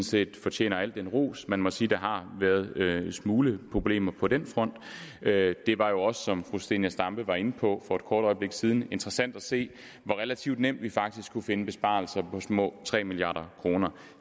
set fortjener al ros man må sige at der har været en smule problemer på den front det var jo også som fru zenia stampe var inde på for et kort øjeblik siden interessant at se hvor relativt nemt vi faktisk kunne finde besparelser på små tre milliard kroner